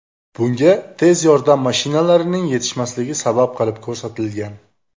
Bunga tez yordam mashinalarining yetishmasligi sabab qilib ko‘rsatilgan.